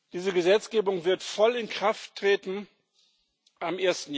Diese Gesetzgebung wird am